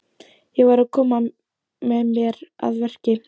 Ég verð að koma mér að verki.